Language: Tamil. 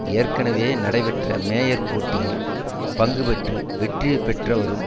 ஏற்கனவே நடைபெற்ற மேயர் போட்டியில் பங்குபற்றி வெற்றியை பெற்று வரும்